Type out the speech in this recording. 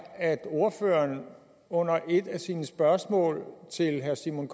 at ordføreren under et af sine spørgsmål til herre simon